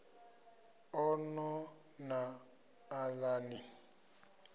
a no na aḽa ni